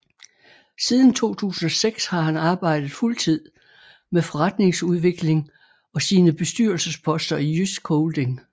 Siden 2006 har han arbejdet fuldtid med forretningsudvikling og sine bestyrelsesposter i JYSK Holding